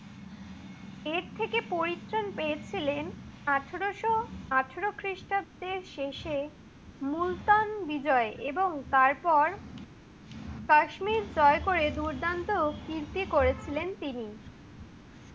এর থেকে পরিত্রাণ পেয়েছিলেন আঠারোশ আঠারো খ্রিষ্টাব্দের শেষে মুলতান বিজয়ে। এবং তারপর কাশ্মীর জয় করে দুর্দান্ত কৃতী করেছিলেন তিনি।